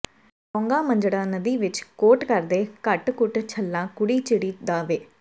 ਲੌਂਗਾਂ ਮੰਜੜਾ ਨਦੀ ਵਿੱਚ ਕੋਟ ਕਰਦੇ ਘਟ ਘੁੱਟ ਛੱਲਾ ਕੁੜੀ ਚਿੜੀ ਦਾ ਵੇ